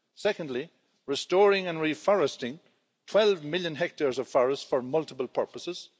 Secondly, restoring and reforesting 12 million hectares of forest for multiple purposes.